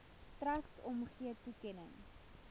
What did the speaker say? trust omgee toekenning